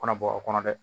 Kɔnɔ bɔ o kɔnɔ dɛ